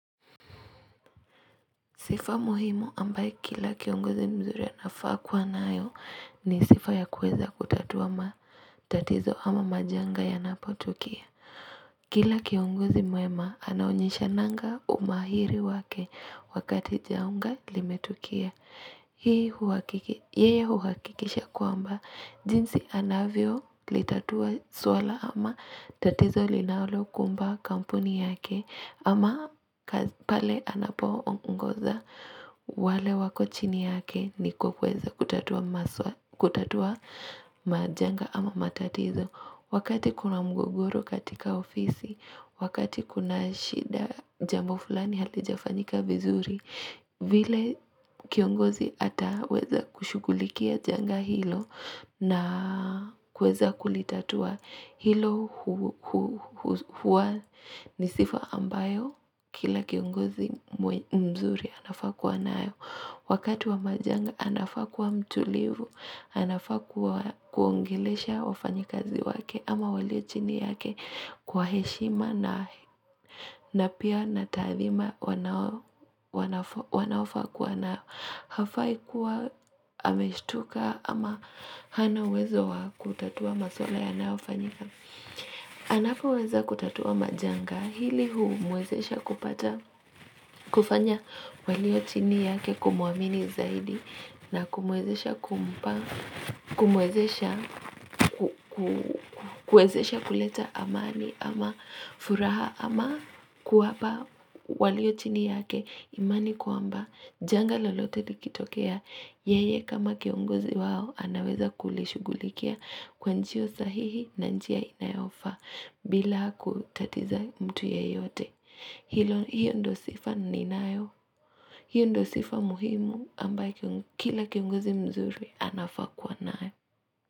Sifa muhimu ambaye kila kiongozi mzuri anafaa kuwa nayo ni sifa ya kuweza kutatua matatizo ama majanga yanapo tukia. Kila kiongozi mwema anaonyeshananga umahiri wake wakati janga limetukia. Hii huakikisha kwamba jinsi anavyo litatua swala ama tatizo linalo kumba kampuni yake ama pale anapo ongoza wale wako chini yake ni kuweza kutatua majanga ama matatizo. Wakati kuna mgogoro katika ofisi, wakati kuna shida jambo fulani halijafanyika vizuri, vile kiongozi ataweza kushugulikia janga hilo na kuweza kulitatua hilo huwa ni sifa ambayo kila kiongozi mzuri anafaa kuwa nayo. Wakati wa majanga anafaa kuwa mtulivu, anafaa kuwaongelesha wafanyikazi wake ama walio chini yake kwa heshima na pia na taadhima wanaofaa kuwa na hafai kuwa ameshtuka ama hana uwezo wa kutatua maswala yanayofanyika. Anapoweza kutatua majanga ili humwezesha kupata kufanya walio chini yake kumuamini zaidi na kumwezesha kuleta amani ama furaha ama kuwapa walio chini yake imani kwamba janga lolote likitokea. Yeye kama kiongozi wao anaweza kulishughulikia kwa njia sahihi na njia inayofaa bila kutatiza mtu yeyote. Hiyo ndio sifa ninayo. Hiyo ndio sifa muhimu ambayo kila kiongozi mzuri anafaa kuwa nayo.